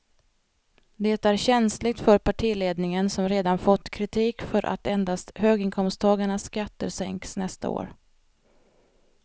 Det är känsligt för partiledningen som redan fått kritik för att endast höginkomsttagarnas skatter sänks nästa år.